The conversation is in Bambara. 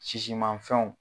Sisimafɛnw.